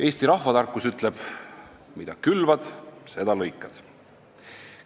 Eesti rahvatarkus ütleb, et mida külvad, seda lõikad.